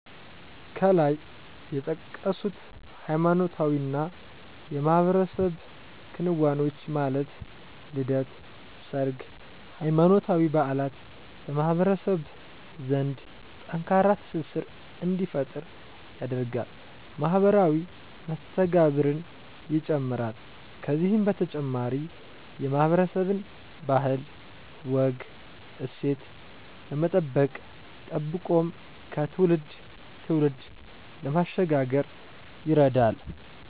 ከላይ የተጠቀሱት ሃይማኖታዊና የማህበረሰብ ክንዋኔዎች ማለት ልደት፣ ሰርግ፣ ሃይማኖታዊ በዓላት በማህበረሰብ ዘንድ ጠንካራ ትስስር እንዲፈጠር ያደርጋል፣ ማህበራዊ መስተጋብርን ይጨምራል ከዚህ በተጨማሪ የማህበረሰብን ባህል፣ ወግ፣ እሴት ለመጠበቅ ጠብቆም ከትውልድ ትውልድ ለማሸጋገር ይረዳል።